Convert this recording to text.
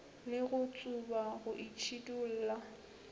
le go tsuba go itšhidulla